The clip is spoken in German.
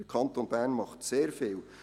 Der Kanton Bern tut sehr vieles.